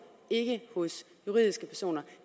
ikke hos juridiske personer